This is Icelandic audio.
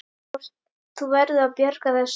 Þú verður að bjarga þessu!